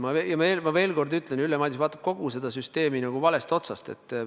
Ma veel kord ütlen: Ülle Madise vaatab kogu seda süsteemi nagu valest otsast.